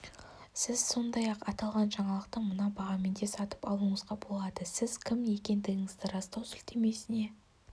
сіз сондай-ақ аталған жаңалықты мына бағамен де сатып алуыңызға болады сіз кім екендігіңізді растау сілтемесіне